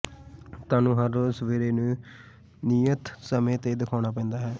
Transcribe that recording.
ਤੁਹਾਨੂੰ ਹਰ ਰੋਜ਼ ਸਵੇਰੇ ਨੂੰ ਨਿਯਤ ਸਮੇਂ ਤੇ ਦਿਖਾਉਣਾ ਪੈਂਦਾ ਹੈ